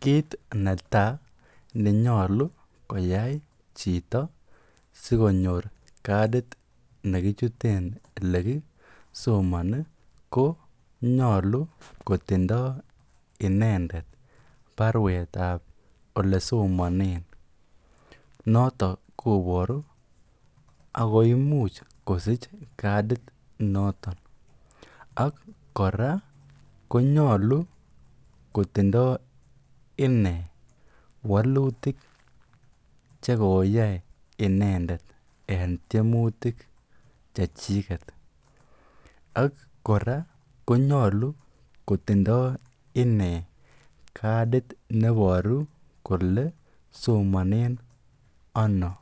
Kiit netaa nenyolu koyai chito sikonyor kadit nekichuten elekisomoni ko nyolu kotindo inendet barwetab elesomonen noton koboru ak ko imuch kosich kadit noton, ak kora konyolu kotindo inee wolutik chekooyai inendet en tiemutik chechiket ak kora konyolu kotindo innee kadit neboru kolee somonen anoo,